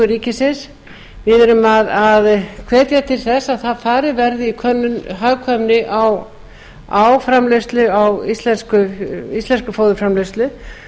ríkisins við erum að hvetja til þess að farið verði í könnun og hagkvæmni á íslenskri fóðurframleiðslu